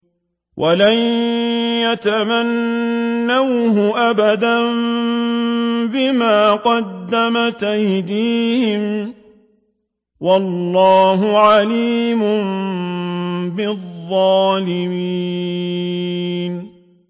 وَلَن يَتَمَنَّوْهُ أَبَدًا بِمَا قَدَّمَتْ أَيْدِيهِمْ ۗ وَاللَّهُ عَلِيمٌ بِالظَّالِمِينَ